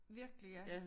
Virkelig ja